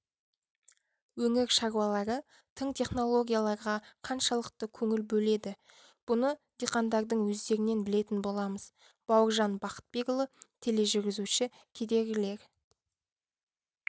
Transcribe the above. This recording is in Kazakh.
өңір шаруалары тың технологияларға қаншалықты көңіл бөледі бұны диқандардың өздерінен білетін боламыз бауыржан бақытбекұлы тележүргізуші кедергілер